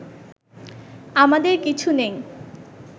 আমাদের কিছু নেই